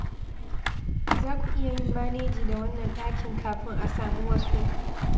Za ku iya yin maneji da wannan ɗakin kafin a sami wasu.